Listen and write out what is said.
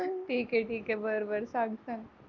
ठीक आहे ठीक आहे बर बर सांग सांग